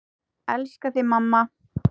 Elska þig, mamma.